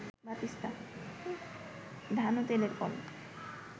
ধান ও তেলের কল